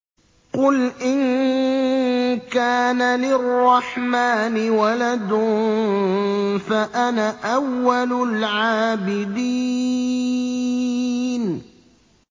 قُلْ إِن كَانَ لِلرَّحْمَٰنِ وَلَدٌ فَأَنَا أَوَّلُ الْعَابِدِينَ